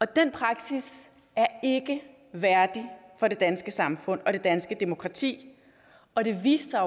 den praksis er ikke værdig for det danske samfund og det danske demokrati og det viste sig